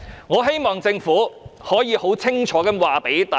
我希望政府能夠清楚告訴大家。